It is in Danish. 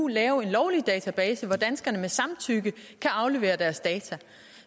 lave en lovlig database hvor danskerne med samtykke kan aflevere deres data